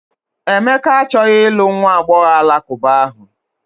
Emeka achọghị ịlụ nwa agbọghọ Alakụba ahụ.